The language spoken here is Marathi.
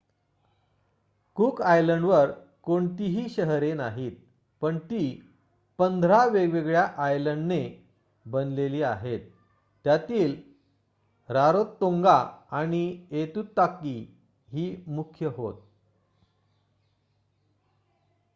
कूक आयलंडवर कोणतीही शहरे नाहीत पण ती १५ वेगवेगळ्या आयलंडने बनलेली आहेत. त्यातील रारोतोंगा आणि ऐतुताकी ही मुख्य होत